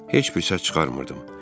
Heç bir səs çıxarmırdım.